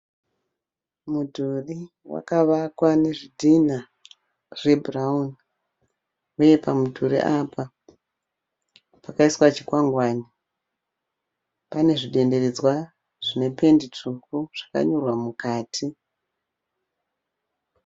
Mudhuri wakavakwa nezvidhina zvebhurauni, uye pamudhuri apa pakamswa chikwangwane. Pane zvidenderedzwa zvinependi tsvuku zvakanyorwa mukati.